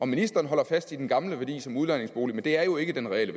ministeren holder fast i den gamle værdi som udlejningsbolig men det er jo ikke den reelle